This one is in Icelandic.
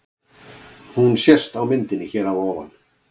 Hún sést á myndinni hér að ofan.